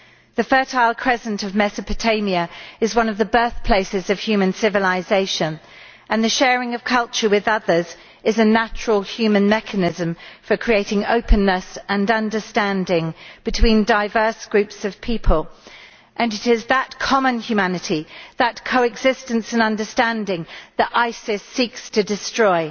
The fertile crescent of Mesopotamia is one of the birthplaces of human civilisation, and the sharing of culture with others is a natural human mechanism for creating openness and understanding between diverse groups of people. It is that common humanity, that co existence and understanding, which ISIS seeks to destroy.